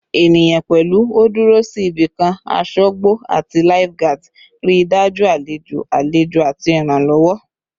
Eniyan, pẹlu o duro si ibikan asogbo ati lifeguards, rii daju alejo alejo ati iranlowo